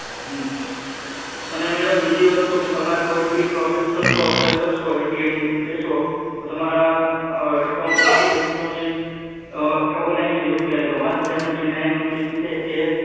અને madam બીજી વસ્તુ કે તમારે કોઈ પણ પ્રોસેસ કરશો એપ્લાય કરશો એ ટી એમ લેશો તો તમારા એકાઉન્ટ માંથી એક સો ને ઓગણ એસી રૂપિયા એટલે વન seventy-nine રૂપિયા એ